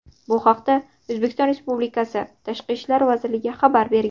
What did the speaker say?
Bu haqda O‘zbekiston Respublikasi Tashqi ishlar vazirligi xabar bergan .